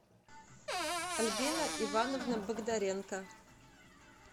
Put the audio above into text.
альбина ивановна богдаренко